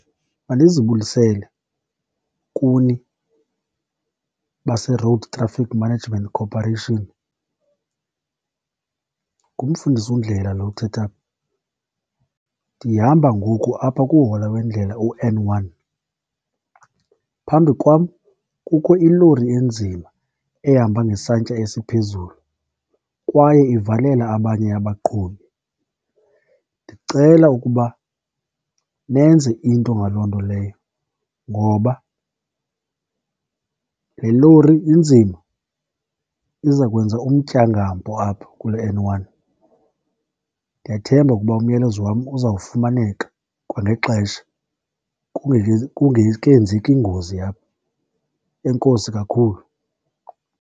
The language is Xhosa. Mandizibulisele kuni base-Road Traffic Management Corporation, nguMfundisi uNdlela lo uthetha apha. Ndihamba ngoku apha kuhola wendlela u-N one, phambi kwam kukho ilori enzima ehamba ngesantya esiphezulu kwaye ivalela abanye abaqhubi. Ndicela ukuba nenze into ngaloo nto leyo ngoba le lori inzima iza kwenza umtyangampo apho kule N one. Ndiyathemba ukuba umyalezo wam uzawufumaneka kwangexesha, kungekenzeki ingozi apha. Enkosi kakhulu.